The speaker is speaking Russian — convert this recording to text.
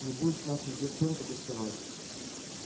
не будет к нашим девчонкам приставать